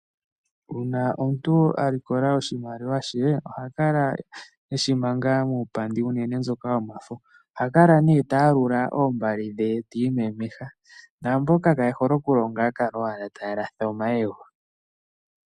Uuna omuntu alikola oshimaliwa she, oha kala eshi manga muupandi, uunene myoka yomafo. Oha kala ne ta yalula oombali dhe ta iimemeha, naamboka kaye hole oku longa ohaya kala owala taya latha omayego.